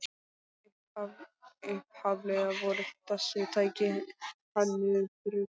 Upphaflega voru þessi tæki hönnuð fyrir grill